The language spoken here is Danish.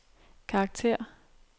karakter